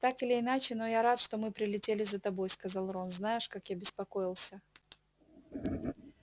так или иначе но я рад что мы прилетели за тобой сказал рон знаешь как я беспокоился